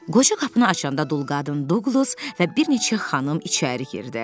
Qoca qapını açanda dul qadın Duqlas və bir neçə xanım içəri girdi.